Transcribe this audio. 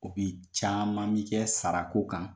caman bi kɛ sara ko kan